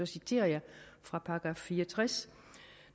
citerer fra § 64